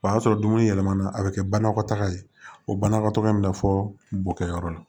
O y'a sɔrɔ dumuni yɛlɛmana a bɛ kɛ banakɔtaga ye o banakɔtaakɛ in na fɔ bokɛyɔrɔ la